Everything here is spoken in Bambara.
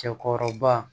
Cɛkɔrɔba